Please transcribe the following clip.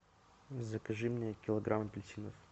закажи мне килограмм апельсинов